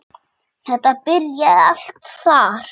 Þetta byrjaði allt þar.